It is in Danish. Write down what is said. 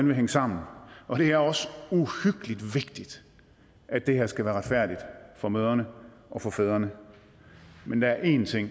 vil hænge sammen og det er også uhyggelig vigtigt at det her skal være retfærdigt for mødrene og for fædrene men der er en ting